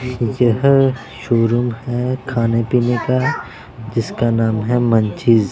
यह शोरूम है खाने पीने का जिसका नाम है मंचीज--